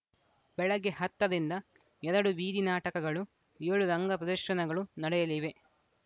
ಬೆಳಗ್ಗೆ ಹತ್ತ ರಿಂದ ಎರಡು ಬೀದಿ ನಾಟಕಗಳು ಏಳು ರಂಗ ಪ್ರದರ್ಶನಗಳು ನಡೆಯಲಿವೆ